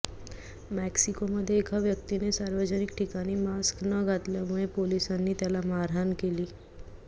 मेक्सिकोमध्ये एका व्यक्तीने सार्वजनिक ठिकाणी मास्क न घातल्यामुळे पोलिसांनी त्याला मारहाण केली